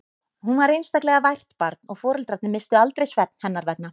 Hún var einstaklega vært barn og foreldrarnir misstu aldrei svefn hennar vegna.